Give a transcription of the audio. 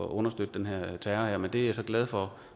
at understøtte den her terror men det er jeg så glad for